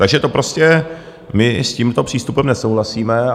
Takže to prostě - my s tímto přístupem nesouhlasíme.